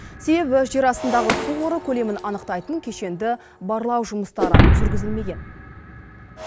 себебі жер астындағы су қоры көлемін анықтайтын кешенді барлау жұмыстары жүргізілмеген